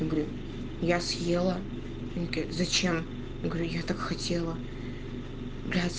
я говорю я съела он говорит зачем я говорю я так хотела блять